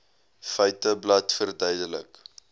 feiteblad verduidelik